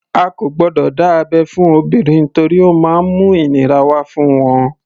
A kò gbọdọ̀ dá abẹ́ fún obìnrin torí ó má ń mú ìnira wá fún wọn.